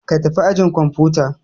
Ka tafi ajin kwamfuta!